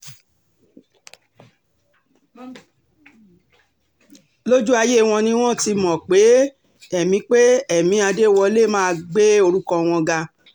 lójú ayé wọn ni wọ́n ti mọ̀ pé ẹ̀mí pé ẹ̀mí adéwọlé máa gbé orúkọ wọn ga